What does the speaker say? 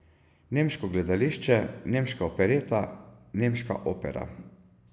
Nemško gledališče, nemška opereta, nemška opera.